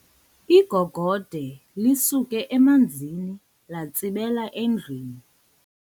Igogode lisuke emanzini latsibela endlwini.